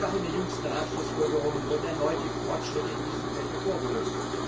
Auch in den jüngsten Ratsschlussfolgerungen wurden erneut die Fortschritte in diesem Feld hervorgehoben.